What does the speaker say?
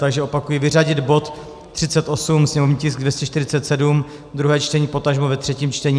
Takže opakuji, vyřadit bod 38, sněmovní tisk 247, druhé čtení, potažmo ve třetím čtení.